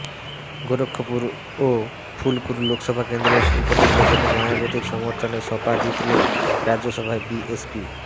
গোরক্ষপুর ও ফুলপুর লোকসভা কেন্দ্রের উপনির্বাচনে মায়াবতীর সমর্থনে সপা জিতলেও রাজ্যসভায় বিএসপি